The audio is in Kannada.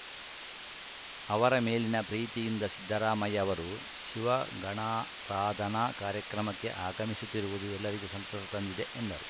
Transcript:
ಅವರ ಮೇಲಿನ ಪ್ರೀತಿಯಿಂದ ಸಿದ್ದರಾಮಯ್ಯ ಅವರು ಶಿವಗಣಾರಾಧನಾ ಕಾರ್ಯಕ್ರಮಕ್ಕೆ ಆಗಮಿಸುತ್ತಿರುವುದು ಎಲ್ಲರಿಗೂ ಸಂತಸ ತಂದಿದೆ ಎಂದರು